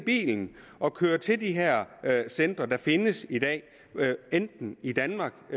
i bilen og kører til de her centre der findes i dag enten i danmark